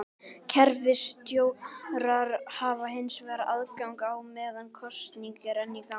Kerfisstjórar hafa hins vegar aðgang á meðan kosning er enn í gangi.